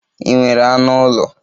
Ị nwere anụ ụlọ?